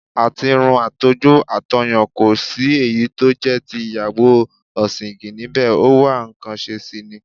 Àtirun, àtojú, àtọyàn, ko sí èyí tó jẹ́ ti ìyàwó ọ̀sìǹgìn níbẹ̀, ó wá nǹkan ṣe sì ni.